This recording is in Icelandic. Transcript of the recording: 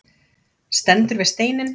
Stendur við steininn.